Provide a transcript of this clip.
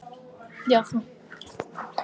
Tugir eru særðir.